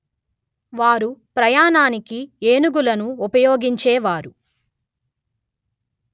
వారు ప్రయాణానికి ఏనుగులను ఉపయోగించేవారు